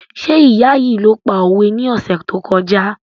Ṣé ìyá yìí ló pa òwe ní ọ̀sẹ̀ tó kọjá?